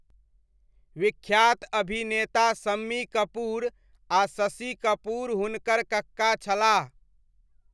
विख्यात अभिनेता शम्मी कपूर आ शशि कपूर हुनकर कक्का छलाह।